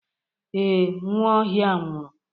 Ee, Nwaohia nwuru.